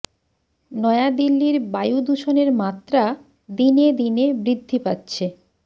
নয়া দিল্লির বায়ু দূষণের মাত্রা দিনে দিনে বৃদ্ধি পাচ্ছে